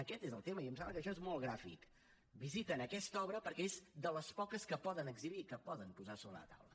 aquest és el tema i em sembla que això és molt gràfic visiten aquesta obra perquè és de les poques que poden exhibir que poden posar sobre la taula